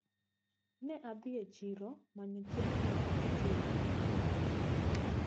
Ne adhi e chiro manyo chiemo ma adhi tedo kinde nyasi.